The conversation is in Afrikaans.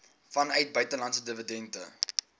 vanuit buitelandse dividende